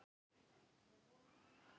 Verður hann í þínu liði?